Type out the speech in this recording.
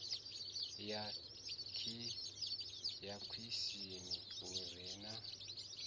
ya khishini hu re na